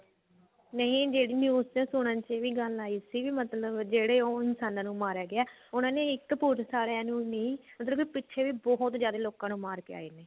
ਨਹੀਂ ਜਿਹੜੀ news ਚ ਸੁਣਨ ਚ ਵੀ ਗੱਲ ਆਈ ਸੀ ਮਤਲਬ ਜਿਹੜੇ ਉਹ ਇਨਸਾਨਾ ਨੂੰ ਮਾਰਿਆ ਗਿਆ ਉਹਨਾ ਨੇ ਇੱਕ ਪੁਲਸ ਆਲਿਆਂ ਨੂੰ ਨੀ ਮਤਲਬ ਪਿੱਛੇ ਵੀ ਬਹੁਤ ਜਿਆਦੇ ਲੋਕਾਂ ਨੂੰ ਮਾਰ ਕਿ ਆਏ ਨੇ